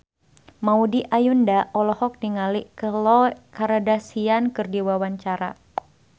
Maudy Ayunda olohok ningali Khloe Kardashian keur diwawancara